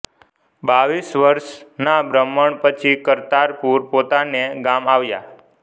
બાવીસ વર્ષના ભ્રમણ પછી કરતારપુર પોતાને ગામ આવ્યા